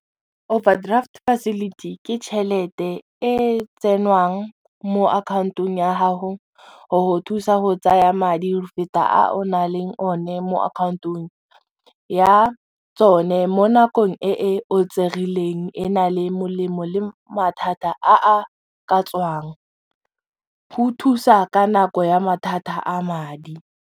Overdraft facility ke tšhelete e mo account-ong ya gago go go thusa go tsaya madi go feta a o na leng one mo account-ong ya tsone mo nakong e o tserileng e na le molemo le mathata a a ka tswang, go thusa ka nako ya mathata a madi.